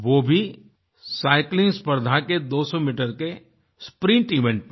वो भी साइक्लिंग स्पर्धा के 200 मीटर के स्प्रिंट इवेंट में